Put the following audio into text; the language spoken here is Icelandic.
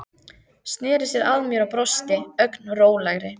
Sneri sér að mér og brosti, ögn rólegri.